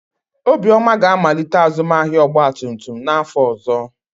Obioma ga-amalite azụmahịa ọgba tum tum n'afọ ọzọ.